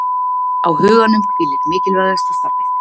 Á huganum hvílir mikilvægasta starfið